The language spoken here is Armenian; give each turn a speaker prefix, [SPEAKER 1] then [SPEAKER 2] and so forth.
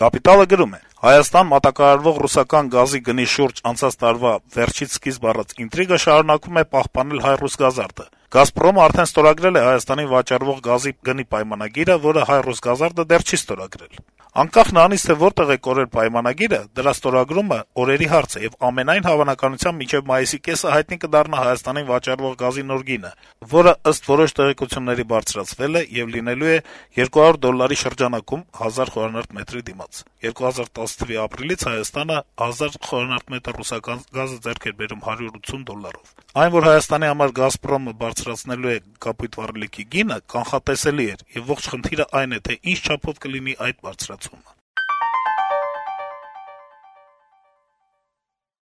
[SPEAKER 1] «Կապիտալ»-ը գրում է. - «Հայաստան մատակարարվող ռուսական գազի գնի շուրջ անցած տարվա վերջից սկիզբ առած ինտրիգը շարունակում է պահպանել «ՀայՌուսգազարդը»։ «Գազպրոմն» արդեն ստորագրել է Հայաստանին վաճառվող գազի գնի նոր պայմանագիրը, որը «ՀայՌուսգազարդը» դեռ չի ստորագրել։ Անկախ նրանից, թե որտեղ է «կորել» պայմանագիրը, դրա ստորագրումն օրերի հարց է, եւ ամենայն հավանականությամբ մինչեւ մայիսի կեսը հայտնի կդառնա Հայաստանին վաճառվող գազի նոր գինը, որը, ըստ որոշ տեղեկությունների, բարձրացվել է եւ լինելու է 200 դոլարի շրջանակում՝ 1000 խմ-ի դիմաց (2010թ. ապրիլի 1-ից Հայաստանը 1000 խմ ռուսական գազը ձեռք է բերում 180 դոլարով)։ Այն, որ Հայաստանի համար «Գազպրոմը» բարձրացնելու է կապույտ վառելիքի գինը, կանխատեսելի էր, եւ ողջ խնդիրն այն է, թե ինչ չափով կլինի այդ բարձրացումը»։